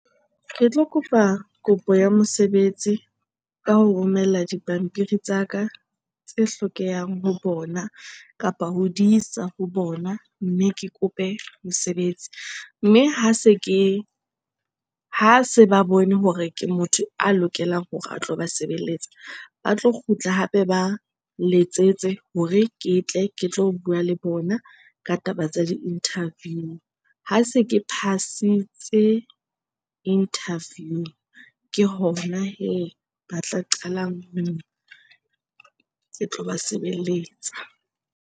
Re tlo kopa kopo ya mosebetsi ka ho romella dipampiri tsa ka tse hlokehang ho bona kapa ho di isa ho bona, mme ke kope mosebetsi. Mme ha se ke, ha se ba bone hore ke motho a lokelang hore a tlo ba sebeletsa, ba tlo kgutla hape ba nletsetse hore ke tle ke tlo bua le bona ka taba tsa di-interview. Ha se ke phasitse interview ke hona hee ba tla qalang ho, ke tloba sebeletsa.